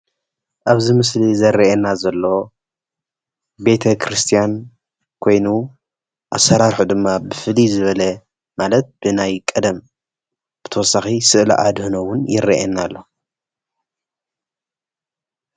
ኣብዚ ምስሊ ዝርአየና ዘሎ ቤተክርስትያን ኾይኑ ኣሰራርሑኡ ድማ ብፍሉይ ዝበለ ማለት ብናይቀደም ብተወሳኺ ስእሊ ኣድህኖ እውን ይርአየና ኣሎ።